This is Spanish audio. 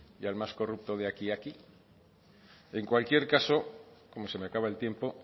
y al más corrupto de aquí aquí en cualquier caso como se me acaba el tiempo